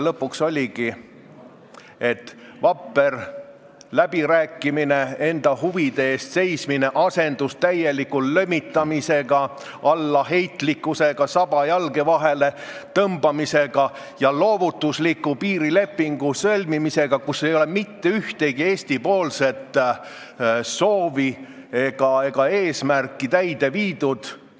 Lõpuks oligi nii, et vapper läbirääkimine, enda huvide eest seismine asendus täieliku lömitamisega, allaheitlikkusega, saba jalge vahele tõmbamisega ja loovutusliku piirilepingu sõlmimisega, kus ei ole mitte ühtegi Eesti soovi ega eesmärki täide viidud.